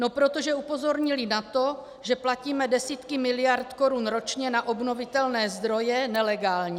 No protože upozornili na to, že platíme desítky miliard korun ročně na obnovitelné zdroje nelegálně.